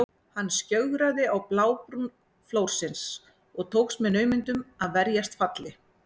Hann skjögraði á blábrún flórsins og tókst með naumindum að verjast falli.